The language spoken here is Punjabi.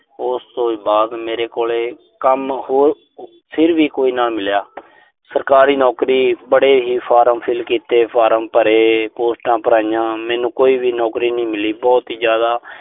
ਉਸ ਤੋਂ ਬਾਅਦ ਮੇਰੇ ਕੋਲ ਕੰਮ ਅਹ ਫਿਰ ਵੀ ਕੋਈ ਨਾ ਮਿਲਿਆ। ਸਰਕਾਰੀ ਨੌਕਰੀ, ਬੜੇ ਹੀ ਫਾਰਮ fill ਕੀਤੇ। ਫਾਰਮ ਭਰੇ। ਪੋਸਟਾਂ ਭਰੀਆਂ। ਮੈਨੂੰ ਕੋਈ ਵੀ ਨੌਕਰੀ ਨਹੀਂ ਮਿਲੀ। ਮੈਂ ਬਹੁਤ ਹੀ ਜ਼ਿਆਦਾ